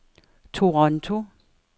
Toronto